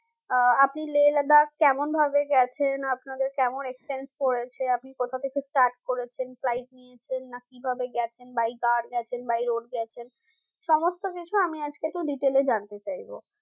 আহ আপনি Lehladakh কেমন ভাবে গেছেন আপনাদের কেমন expense পড়েছে আপনি কোথা থেকে start করেছেন flight নিয়েছেন না কিভাবে গেছেন by car গেছেন by road গেছেন সমস্ত কিছু আমি একটু detail এ জানতে চাইবো